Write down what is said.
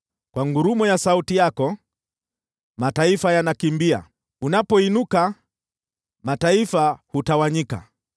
Kwa ngurumo ya sauti yako, mataifa yanakimbia; unapoinuka, mataifa hutawanyika.